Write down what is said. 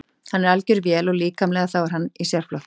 Hann er algjör vél og líkamlega þá er hann í sérflokki.